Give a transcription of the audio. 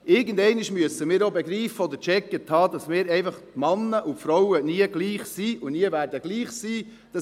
Irgendwann einmal müssen wir auch begreifen oder gecheckt haben, dass wir Männer und Frauen einfach nicht gleich sind und nie gleich sein werden.